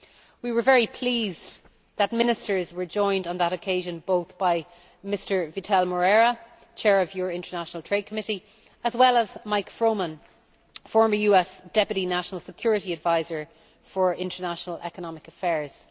We were very pleased that the ministers were joined on that occasion by both Mr Vital Moreira, Chair of your International Trade Committee, and Mike Froman, former US Deputy National Security Advisor for International Economic Affairs.